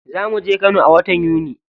Za muje kano a watan yuni.